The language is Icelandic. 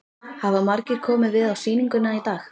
Hafa margir komið við á sýninguna í dag?